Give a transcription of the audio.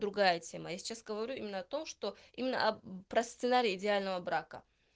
другая тема я сейчас говорю именно о том что именно о про сценарий идеального брака